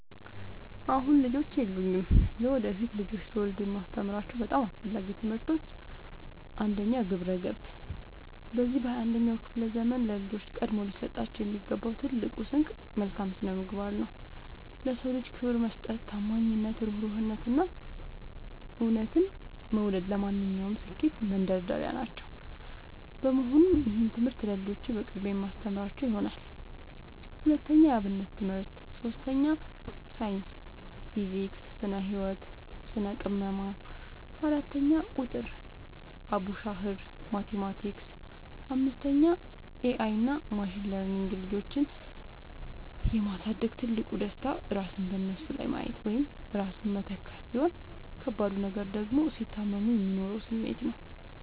አሁን ልጆች የሉኝም። ለወደፊት ልጆችን ስወልድ የማስተምራቸው በጣም አስፈላጊ ትምህርቶች፦ 1. ግብረ-ገብ፦ በዚህ በ 21ኛው ክፍለ ዘመን ለልጆች ቀድሞ ሊሰጣቸው የሚገባው ትልቁ ስንቅ መልካም ስነምግባር ነው። ለ ሰው ልጅ ክብር መስጠት፣ ታማኝነት፣ እሩህሩህነት፣ እና እውነትን መውደድ ለማንኛውም ስኬት መንደርደሪያዎች ናቸው። በመሆኑም ይህንን ትምህርት ለልጆቼ በቅድሚያ የማስተምራቸው ይሆናል። 2. የ አብነት ትምህርት 3. ሳይንስ (ፊዚክስ፣ ስነ - ህወት፣ ስነ - ቅመማ) 4. ቁጥር ( አቡሻኽር፣ ማቲማቲክስ ...) 5. ኤ አይ እና ማሽን ለርኒንግ ልጆችን የ ማሳደግ ትልቁ ደስታ ራስን በነሱ ላይ ማየት ወይም ራስን መተካት፣ ሲሆን ከባዱ ነገር ደግሞ ሲታመሙ የሚኖረው ስሜት ነው።